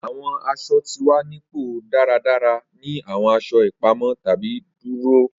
Awọn aṣọ ti wa ni pọ daradara ni awọn aṣọ ipamọ tabi duroa.